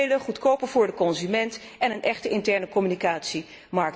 Voordelen goedkoper voor de consument en een echte internecommunicatiemarkt.